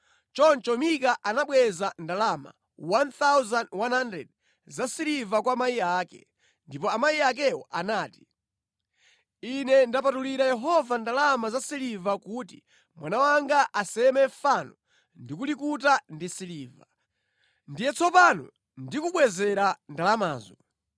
Choncho Mika anabweza ndalama 1,100 za siliva kwa amayi ake, ndipo amayi akewo anati, “Ine ndapatulira Yehova ndalama za silivazi kuti mwana wanga aseme fano ndi kulikuta ndi siliva. Ndiye tsopano ndikubwezera ndalamazo.”